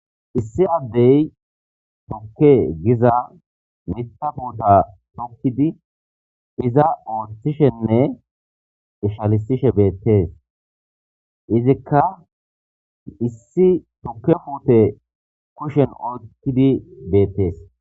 Issi addey tokke giza mita buuta tokkidi iza ooththishenne ishalisishe beettees izikka issi tokke puute kushen ookidi beettees